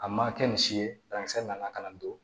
A ma kɛ misi ye banakisɛ nana ka na don